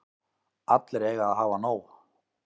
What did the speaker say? Allir eiga að hafa nóg.